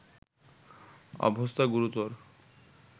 অবস্থা গুরুতর